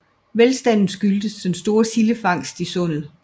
Velstanden skyldtes den store sildefangst i sundet